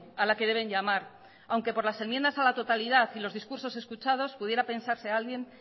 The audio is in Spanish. a la que deben llamar aunque por las enmiendas a la totalidad y los discursos escuchados pudiera pensarse alguien